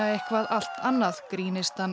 eitthvað allt annað